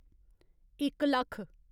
इक लक्ख